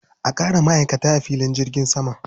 A ƙara ma'aikata a filin jirgin sama.